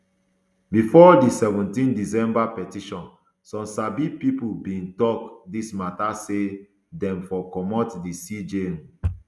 bifor di seventeen december petition some sabi pipo bin tok dis mata say dem for comot di cj um